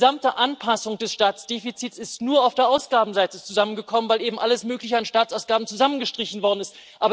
Die gesamte Anpassung des Staatsdefizits ist nur auf der Ausgabenseite zusammengekommen, weil eben alles Mögliche an Staatsausgaben zusammengestrichen worden ist.